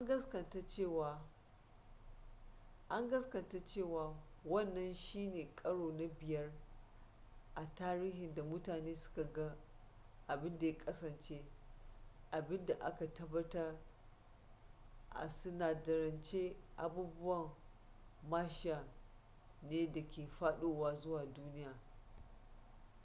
an gaskata cewa wannan shine karo na biyar a tarihi da mutane suka ga abin da ya kasance abin da aka tabbatar a sinadarance abubuwan martian ne da ke fadowa zuwa duniya